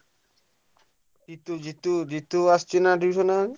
ଜିତୁ ଜିତୁ ଜିତୁ ଆସୁଛି ନା tuition ଏବେ?